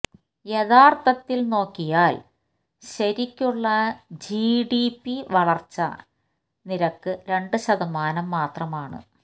യഥാർത്ഥത്തിൽ നോക്കിയാല് ശരിക്കുള്ള ജിഡിപി വളര്ച്ച നിരക്ക് രണ്ട് ശതമാനം മാത്രമാണ്